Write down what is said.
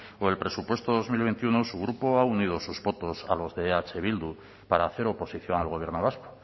o el presupuesto dos mil veintiuno su grupo ha unido sus votos a los de eh bildu para hacer oposición al gobierno vasco